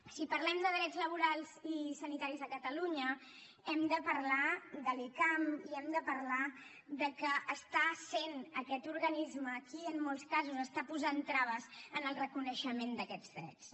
si parlem de drets laborals i sanitaris a catalunya hem de parlar de l’icam i hem de parlar que està sent aquest organisme qui en molts casos està posant traves en el reconeixement d’aquests drets